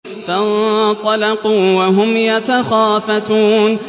فَانطَلَقُوا وَهُمْ يَتَخَافَتُونَ